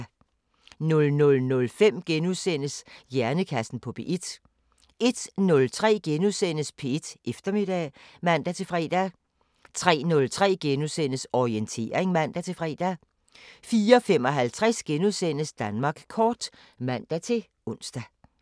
00:05: Hjernekassen på P1 * 01:03: P1 Eftermiddag *(man-fre) 03:03: Orientering *(man-fre) 04:55: Danmark kort *(man-ons)